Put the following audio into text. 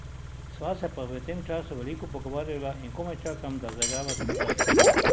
Sva se pa v tem času veliko pogovarjala in komaj čakam, da zaigrava skupaj.